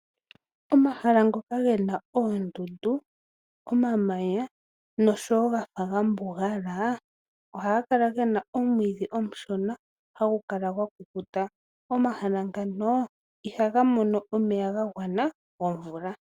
Omahala ngoka ge na oondundu, omamanya noshowo gafa ga mbugala ohaga kala gena omwiidhi omushona hagu kala gwa kukuta. Omahala ngano iha ga mono omeya ga gwana gomvula.